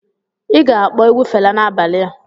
Ị ga-akpọ egwu Fela n'abalị a.